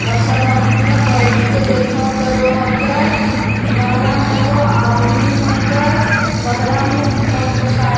और सब आदमियाँ बइठ के देखब करो है के बहरा में एगो आदमी है के बहरा में मोटर साइकिल --